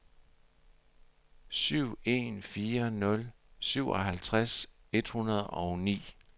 syv en fire nul syvoghalvtreds et hundrede og ni